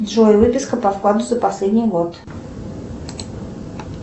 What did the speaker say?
джой выписка по вкладу за последний год